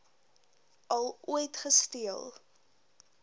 al ooit gesteel